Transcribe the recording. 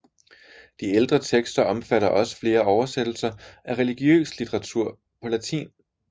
De ældste tekster omfatter også flere oversættelser af religiøs litteratur på latin